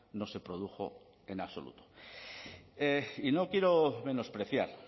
no se produjo en absoluto y no quiero menospreciar